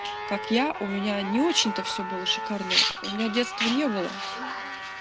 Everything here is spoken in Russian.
как я у меня не очень-то все было шикарно у меня детства не было